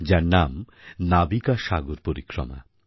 যার নাম নাবিকা সাগর পরিক্রমা